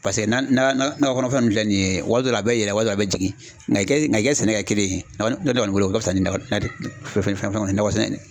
Paseke nakɔ kɔnɔ fɛn nunnu filɛ nin ye waati dɔ la a bɛ yɛlɛ waati dɔ a bɛ jigin nka i ka sɛnɛ kɛ kelen ye ne kɔni bolo o ka fusa ni fɛn fɛn ye nakɔ sɛnɛ ye.